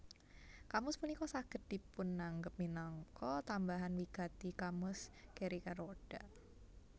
Kamus punika saged dipunanggep minangka tambahan wigati kamus Gericka Rooda